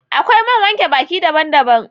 Akwai man wanke baki daban daban